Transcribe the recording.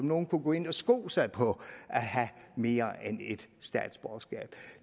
nogen kunne gå ind og sko sig på at have mere end ét statsborgerskab